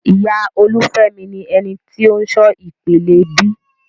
Ìyá Olufemi ni eni ti o n ṣọ ìpele B.